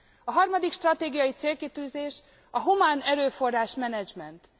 A harmadik stratégiai célkitűzés a humánerőforrás menedzsment.